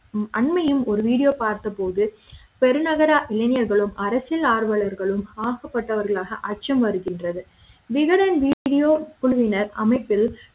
அண்மையும் ஒரு video பார்த்த போது பெருநகர இளைஞர்களும் அரசியல் ஆர்வலர்களும் ஆக்கப்பட்டவர்களாக அச்சம் வருகின்றது விகடன் video குழுவினர் அமைப்பில்